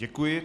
Děkuji.